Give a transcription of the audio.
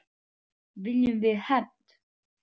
Viljum við hefnd?